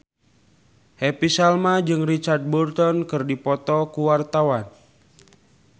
Happy Salma jeung Richard Burton keur dipoto ku wartawan